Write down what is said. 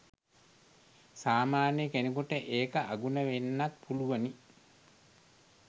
සාමාන්‍ය කෙනෙකුට ඒක අගුණ වෙන්නත් පුළුවනි.